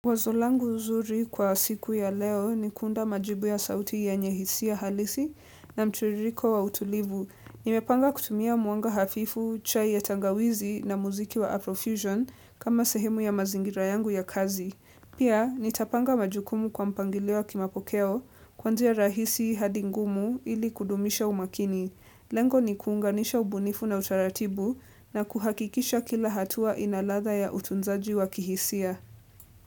Wazo langu zuri kwa siku ya leo ni kuunda majibu ya sauti yenye hisia halisi na mtiririko wa utulivu. Nimepanga kutumia mwanga hafifu, chai ya tangawizi na muziki wa Afrofusion kama sehemu ya mazingira yangu ya kazi. Pia, nitapanga majukumu kwa mpangilio wa kimapokeo kuanzia rahisi hadi ngumu ili kudumisha umakini. Lengo ni kuunganisha ubunifu na utaratibu na kuhakikisha kila hatua ina ladha ya utunzaji wa kihisia.